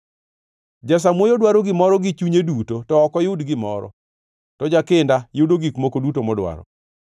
Jasamuoyo dwaro gimoro gi chunye duto to ok oyud gimoro, to jakinda yudo gik moko duto modwaro.